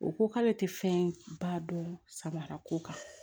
O ko k'ale tɛ fɛnba dɔn samara ko kan